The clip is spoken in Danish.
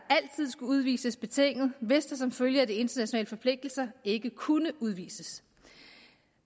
skulle udvises betinget hvis der som følge af de internationale forpligtelser ikke kunne udvises